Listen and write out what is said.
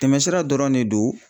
Tɛmɛsira dɔrɔn ne do